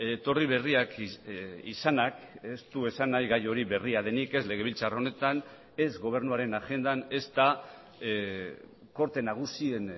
etorri berriak izanak ez du esan nahi gai hori berria denik ez legebiltzar honetan ez gobernuaren agendan ezta korte nagusien